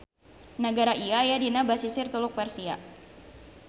Nagara ieu aya dina basisir Teluk Persia.